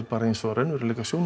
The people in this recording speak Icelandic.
eins og raunveruleikasjónvarp